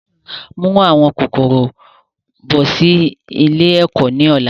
Mú àwọn kòkòrò bọ̀ sì ilé ẹ̀kọ́ ni ọ̀la!